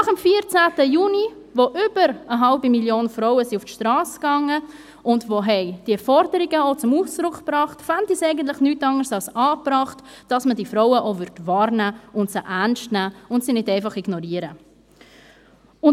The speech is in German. Nach dem 14. Juni, an dem über eine halbe Million Frauen auf die Strasse gingen und diese Forderungen zum Ausdruck brachten, fände ich es eigentlich nichts anderes als angebracht, wenn man diese Frauen auch wahrnehmen, ernst nehmen und sie nicht einfach ignorieren würde.